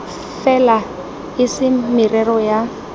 fela e se merero ya